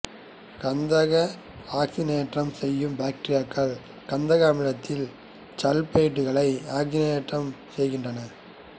கந்தகத்தை ஆக்சிசனேற்றம் செய்யும் பாக்டீரியாக்கள் கந்தக அமிலத்தில் இச்சல்பைடுகளை ஆக்சிசனேற்றம் செய்கின்றன